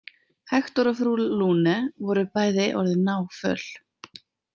Hektor og frú Lune voru bæði orðin náföl.